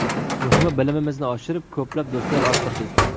Muhimi, bilimimizni oshirib, ko‘plab do‘stlar orttirdik.